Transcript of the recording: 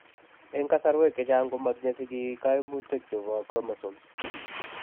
Eng' kasarwek chechang' komatinye sigik kaimutikchebo chromosomes